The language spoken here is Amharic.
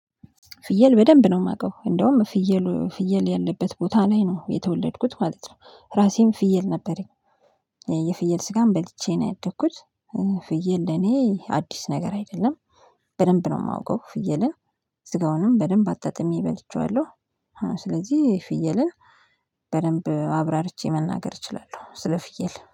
ፍየል በደንብ ነው የማውቀው እንደውም ፍየሉ ፍየል ያለበት ቦታ ላይ ነው የተወለድኩት ማለት ነው። ራሴም ፍየል ነበረኝ። የፍየል ስጋም በልቼ ነው ያደኩት። ፍየል ለኔ አዲስ ነገር አይደለም። በደንብ ነው የማውቀው ፍየልን። ስጋውንም በደንብ አጣጥሜ በልቼዋለሁ ስለዚህ ፍየልን በደንብ አብራርቼ መናገር እችላለሁ ስለ ፍየል